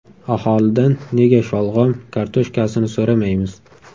Aholidan nega sholg‘om, kartoshkasini so‘ramaymiz?